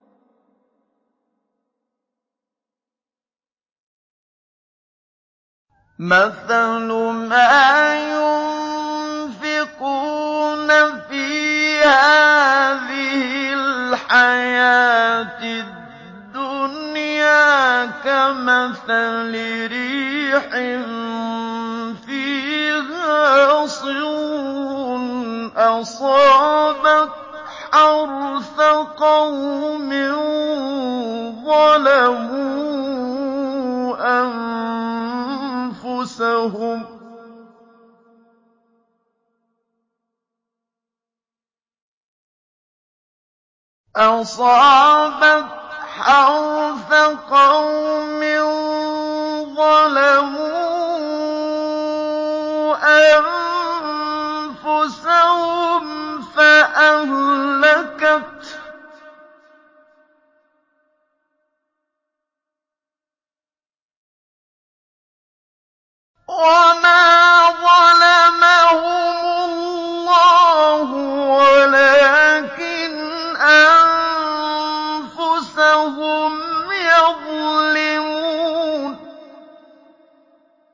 مَثَلُ مَا يُنفِقُونَ فِي هَٰذِهِ الْحَيَاةِ الدُّنْيَا كَمَثَلِ رِيحٍ فِيهَا صِرٌّ أَصَابَتْ حَرْثَ قَوْمٍ ظَلَمُوا أَنفُسَهُمْ فَأَهْلَكَتْهُ ۚ وَمَا ظَلَمَهُمُ اللَّهُ وَلَٰكِنْ أَنفُسَهُمْ يَظْلِمُونَ